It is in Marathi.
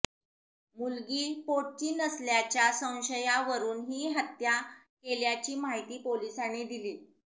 मुलगी पोटची नसल्याच्या संशयावरून ही हत्या केल्याची माहिती पोलिसांनी दिली